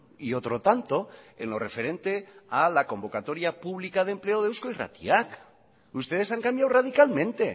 y otro tanto en lo referente a la convocatoria pública de empleo de eusko irratia ustedes han cambiado radicalmente